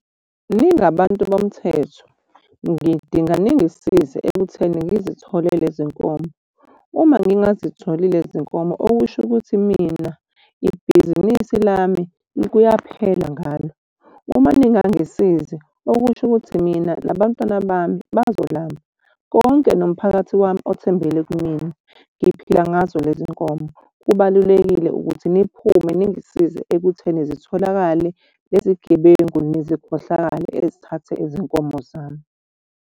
Ningabantu bomthetho ngidinga ningisize ekutheni ngizithole lezi nkomo. Uma ngingazitholi lezi nkomo okusho ukuthi mina ibhizinisi lami, kuyaphela ngalo. Uma ningangisizi okusho ukuthi mina nabantwana bami bazolamba konke nomphakathi wami othembele kumina. Ngiphila ngazo lezi nkomo. Kubalulekile ukuthi niphume ningisize ekutheni zitholakale lezi gebengu nezikhohlakali ezithathe izinkomo zami.